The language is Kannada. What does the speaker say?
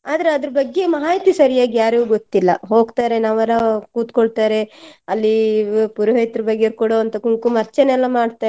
ಆದರೆ ಅದರ ಬಗ್ಗೆ ಮಾಹಿತಿ ಸರಿಯಾಗಿ ಯಾರಿಗೂ ಗೊತ್ತಿಲ್ಲ ಹೋಗ್ತಾರೆ ಅವ್ರು ಕೂತ್ಕೊಳ್ತಾರೆ ಅಲ್ಲಿ ಪುರೋಹಿತ್ರ ಬಗೆಯವರು ಕೊಡುವಂತಹ ಕಂಕುಮ ಅರ್ಚನೆ ಎಲ್ಲ ಮಾಡ್ತಾರೆ.